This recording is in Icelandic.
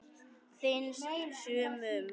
Finnst sumum.